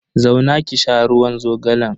Zauna ki sha ruwan zogalan.